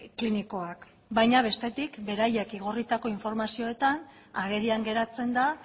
klinikoak baina bestetik beraiek igorritako informazioetan agerian geratzen da